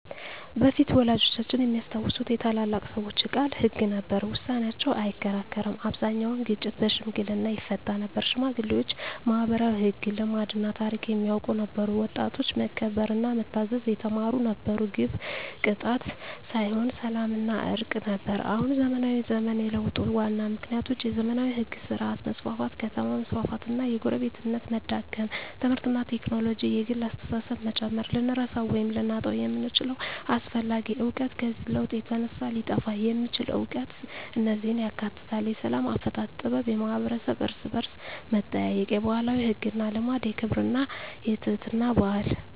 በፊት (ወላጆቻችን የሚያስታውሱት) የታላላቅ ሰዎች ቃል ሕግ ነበር፤ ውሳኔያቸው አይከራከርም አብዛኛውን ግጭት በሽምግልና ይፈታ ነበር ሽማግሌዎች ማኅበራዊ ሕግ፣ ልማድና ታሪክ የሚያውቁ ነበሩ ወጣቶች መከበርና መታዘዝ የተማሩ ነበሩ ግብ ቅጣት ሳይሆን ሰላምና እርቅ ነበር አሁን (ዘመናዊ ዘመን) የለውጡ ዋና ምክንያቶች የዘመናዊ ሕግ ሥርዓት መስፋፋት ከተማ መስፋፋት እና የጎረቤትነት መዳከም ትምህርትና ቴክኖሎጂ የግል አስተሳሰብን መጨመር ልንረሳው ወይም ልናጣው የምንችለው አስፈላጊ እውቀት ከዚህ ለውጥ የተነሳ ሊጠፋ የሚችል እውቀት እነዚህን ያካትታል፦ የሰላም አፈታት ጥበብ የማኅበረሰብ እርስ–በርስ መጠያየቅ የባህላዊ ሕግና ልማድ የክብርና የትሕትና ባህል